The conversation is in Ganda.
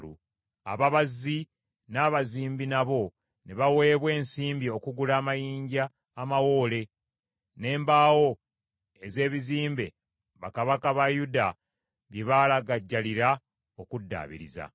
Ababazzi n’abazimbi nabo ne baweebwa ensimbi okugula amayinja amawoole, n’embaawo ez’ebizimbe bakabaka ba Yuda bye baalagajjalira okuddaabiriza.